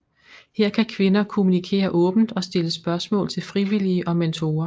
Her kan kvinder kommunikere åbent og stille spørgsmål til frivillige og mentorer